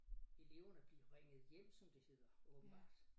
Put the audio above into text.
Eleverne blive ringet hjem som det hedder åbenbart